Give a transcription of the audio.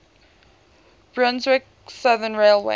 brunswick southern railway